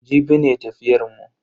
Jibi ne tafiyar mu.